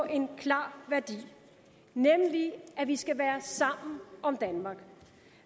en klar værdi nemlig at vi skal være sammen om danmark